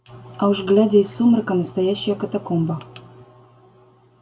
а уж глядя из сумрака настоящая катакомба